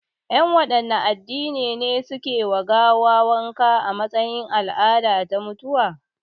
Yan wanne addini ne suke wa gawa wanka a matsayin al'ada ta mutuwa?